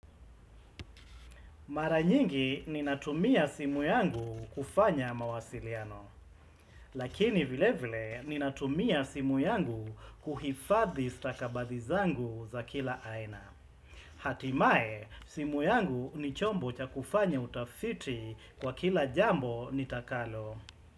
Mara nyingi ninatumia simu yangu kufanya mawasiliano, lakini vile vile ninatumia simu yangu kuhifadhi stakabadhi zangu za kila aina. Hatimaye, simu yangu ni chombo cha kufanya utafiti kwa kila jambo nitakalo.